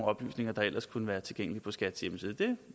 oplysninger der ellers kunne være tilgængelige på skats hjemmeside det